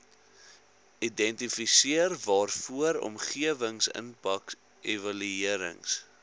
identifiseer waarvoor omgewingsimpakevaluerings